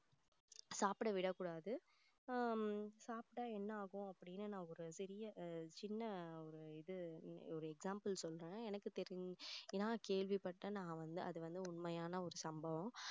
சாப்பிட விடக்கூடாது உம் சாப்பிட்டா என்ன ஆகும் அப்படின்னு நான் ஒரு பெரிய சின்ன ஒரு இது ஒரு example சொல்றேன் எனக்கு தெரிஞ்சி நான் கேள்விப்பட்டேன் நான் வந்து அது வந்து உண்மையான ஒரு சம்பவம்